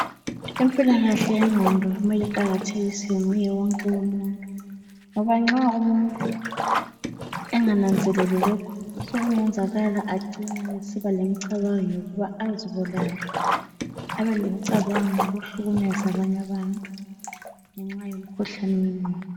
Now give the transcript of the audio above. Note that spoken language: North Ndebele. Impilakahle yengqondo kumele iqakathekiswe nguye wonke umuntu, ngoba nxa umuntu engananzeleli lokhu sokungenzekala acine esiba lemicabango yokuba azibulale, abelemicabango yokuhlukumeza abanye abantu ngenxa yomkhuhlane wengqondo.